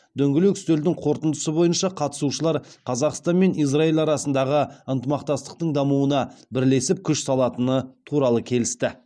дөңгелек үстелдің қорытындысы бойынша қатысушылар қазақстан мен израиль арасындағы ынтымақтастықтың дамуына бірлесіп күш салатыны туралы келісті